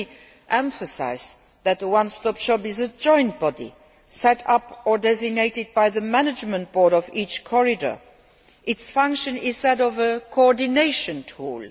Let me emphasise that the one stop shop is a joint body set up or designated by the management board of each corridor its function is that of a coordination tool.